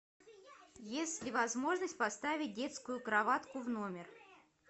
есть ли возможность поставить детскую кроватку в номер